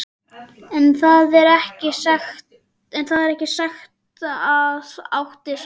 En þar með er ekki sagt að átt sé við